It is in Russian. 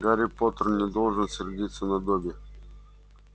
гарри поттер не должен сердиться на добби